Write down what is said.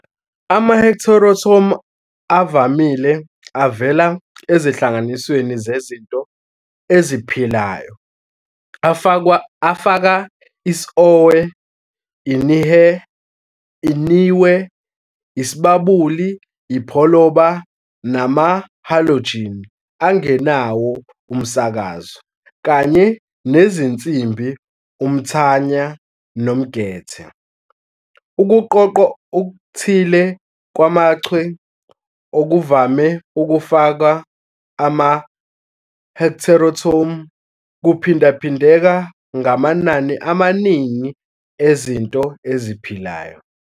Ama-heteroatom avamile avela ezinhlanganisweni zezinto eziphilayo afaka isOhwe, iNihwe, iSibabuli, iPholoba, nama-halogen angenawo umsakazo, kanye nezinsimbi uMthanya nomGethe. Ukuqoqwa okuthile kwamaChwe, okuvame ukufaka ama-heteroatom, kuphindaphindeka ngamanani amaningi ezinto eziphilayo.